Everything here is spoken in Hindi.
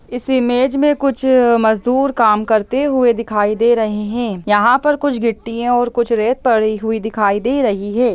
इस इमेज में कुछ मजूदर काम करते हुए दिखाई दे रहे हैं यहाँ पे कुछ गिट्टियाँ और कुछ रेत पड़ी हुई दिखाई दे रही हैं।